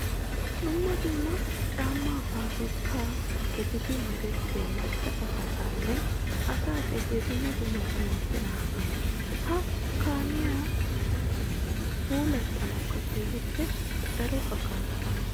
Dumma dumma caama paabirkka geliddi merettiya maca asaa caamay asaa gediya dumma dumma danuwappe naages. Ha caamay puulatettawu keehippe daro hagaaza imees.